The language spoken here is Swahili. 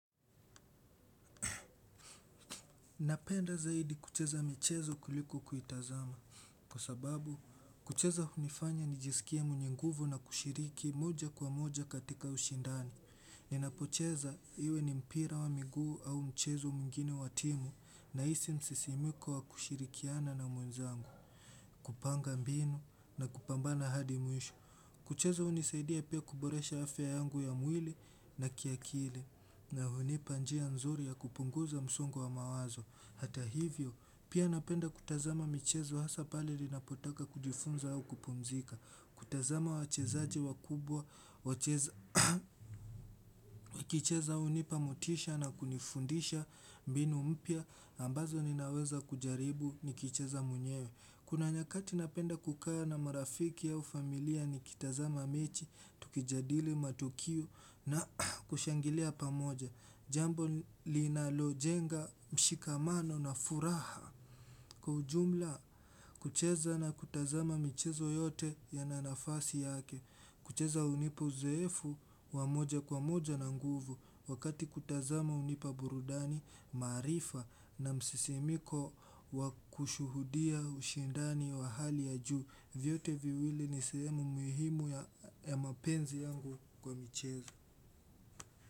Napenda zaidi kucheza michezo kuliko kuitazama. Kwa sababu, kucheza hunifanya nijisikie mwenye nguvu na kushiriki moja kwa moja katika ushindani. Ninapocheza iwe ni mpira wa miguu au mchezo mwingine wa timu ninahisi msisimko wa kushirikiana na mwenzangu. Kupanga mbinu na kupambana hadi mwisho. Kucheza hunisaidia pia kuboresha afya yangu ya mwili na kiakili. Na hunipa njia nzuri ya kupunguza msongo wa mawazo. Hata hivyo, pia ninapenda kutazama michezo hasa pale ninapotaka kujifunza au kupumzika. Kutazama wachezaji wakubwa, nikicheza hunipa motisha na kunifundisha mbinu mpya, ambazo ninaweza kujaribu nikicheza mwenyewe. Kuna nyakati ninapenda kukaa na marafiki au familia nikitazama mechi, tukijadili matukio na kushangilia pamoja. Jambo linalojenga mshikamano na furaha kwa ujumla kucheza na kutazama michezo yote ina nafasi yake. Kucheza hunipa uzoefu wa moja kwa moja na nguvu wakati kutazama hunipa burudani maarifa na msisimko wakushuhudia ushindani wa hali ya juu. Vyote viwili ni sehemu muhimu ya ya mapenzi yangu kwa michezo.